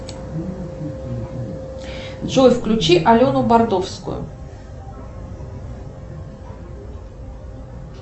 джой включи алену бардовскую